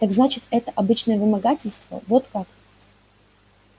так значит это обычное вымогательство вот как